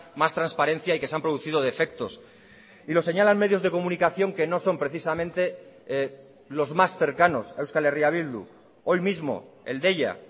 más transparencia y que se han producido defectos y lo señalan medios de comunicación que no son precisamente los más cercanos a euskal herria bildu hoy mismo el deia